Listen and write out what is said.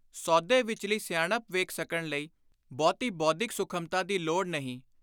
ਸੌਦੇ ਵਿਚਲੀ ਸਿਆਣਪ ਵੇਖ ਸਕਣ ਲਈ ਬਹੁਤੀ ਬੋਧਿਕ ਸੁਖਮਤਾ ਦੀ ਲੋੜ ਨਹੀਂ।